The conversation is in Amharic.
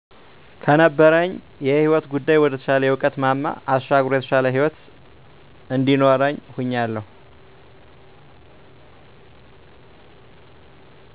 ከነበረኝ የህይወት ጉዳይ ወደ ተሻለ የእዉቀት ማማ አሻግሮ የተሻለ ህይወት እንዲኖርኝ ሁኛለሁ